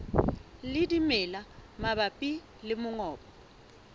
le dimela mabapi le mongobo